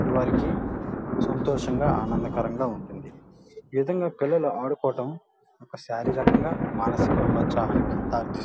సంతోషంగా ఆనందకరంగా ఉంటుంది. ఈ విధంగా పిల్లలు ఆడుకోవడం ఒక శారీరకంగా మానసికంగా ఉల్లాసానికి దారితీస్తుం --